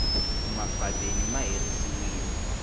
mafadeni ma herisiwile